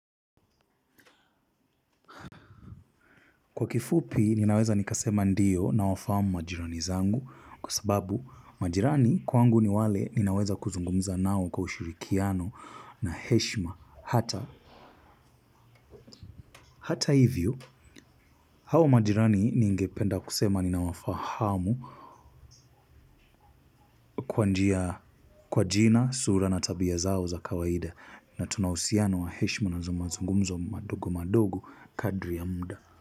Kwa kifupi, ninaweza nikasema ndio nawafahamu majirani zangu kwa sababu majirani kwangu ni wale ninaweza kuzungumza nao kwa ushirikiano na heshima hata. Hata hivyo, hao majirani ningependa kusema ninawafahamu kwa njia kwa jina, sura na tabia zao za kawaida. Na tuna uhusiano wa heshima na mazungumzo madogo madogo kadri ya muda.